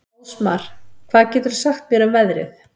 Ásmar, hvað geturðu sagt mér um veðrið?